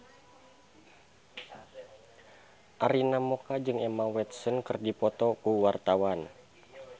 Arina Mocca jeung Emma Watson keur dipoto ku wartawan